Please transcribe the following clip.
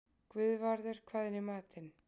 Guðvarður, hvað er í matinn?